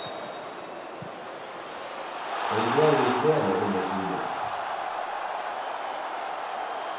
Og det er vi flere om å synes.